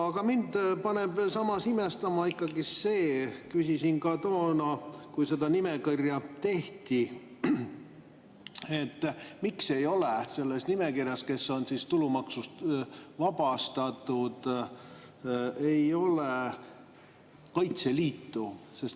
Aga mind paneb samas imestama ikkagi see – küsisin ka toona, kui seda nimekirja tehti –, miks ei ole selles nimekirjas, kes on tulumaksust vabastatud, Kaitseliitu.